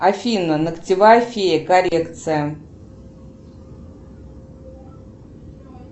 афина ногтевая фея коррекция